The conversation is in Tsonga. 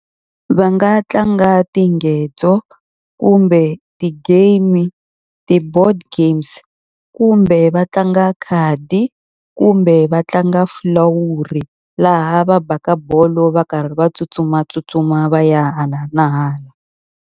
Va nga tlanga tingedzo, kumbe ti-game-i, ti-board games. kumbe va tlanga khadi, kumbe va tlanga fulawuri laha va baka bolo va karhi va tsutsumatsutsuma va ya hala na hala.